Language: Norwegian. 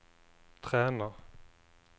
Træna